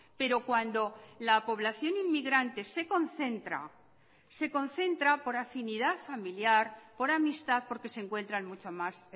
pero cuando la población inmigrante se concentra se concentra por afinidad familiar por amistad porque se encuentran mucho más